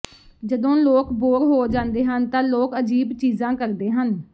ਜਦੋਂ ਲੋਕ ਬੋਰ ਹੋ ਜਾਂਦੇ ਹਨ ਤਾਂ ਲੋਕ ਅਜੀਬ ਚੀਜ਼ਾਂ ਕਰਦੇ ਹਨ